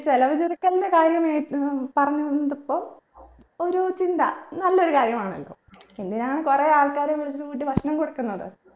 ചിലവ് ചുരുക്കലിന്റെ കാര്യം മേ ഏർ പറഞ്ഞോണ്ടിപ്പം ഒരു ചിന്ത നല്ലൊരു കാര്യമാണല്ലോ എന്തിനാണ് കുറെയാൾക്കാരെക്കാരെ പിടിച്ചിട്ട് വീട്ടിൽ ഭക്ഷണം കൊടുക്കുന്നത്